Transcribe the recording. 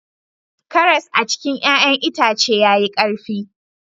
Karas a cikin ya'yan itace yayi karfi